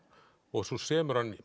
og svo semur hann